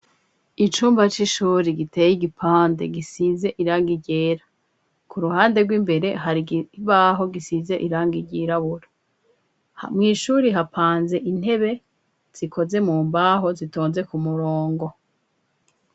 Icumba c'ishuri giteye igipande gisize iranga ryera. Ku ruhande rw'imbere hari ikibaho gisize iranga ryirabura. Mwishuri hapanze intebe zikoze mu mbaho zitonze ku murongo.